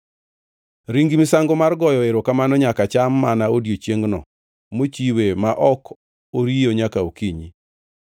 Ring misango mar goyo erokamano nyaka cham mana odiechiengno mochiwe ma ok oriyo nyaka okinyi.